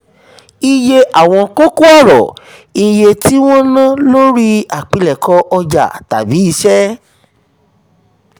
um iye àwọn kókó ọ̀rọ̀: iye tí wọ́n ná lórí àpilẹ̀kọ ọjà tàbí iṣẹ́.